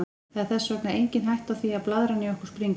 Það er þess vegna engin hætta á því að blaðran í okkur springi.